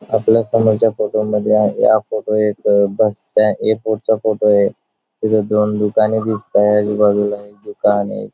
आपल्या समोरच्या फोटो मध्ये आहे हा फोटो एक बसचा ए फोर चा फोटोय तिथ दोन दुकाने दिसताये आजूबाजूला एक दुकानय.